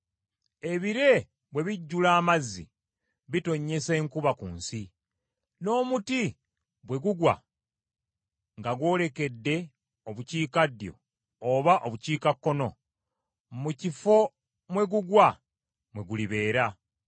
Ebire bwe bijjula amazzi, bitonnyesa enkuba ku nsi; n’omuti bwe gugwa nga gwolekedde obukiikaddyo oba obukiikakkono, mu kifo mwe gugwa mwe gulibeera.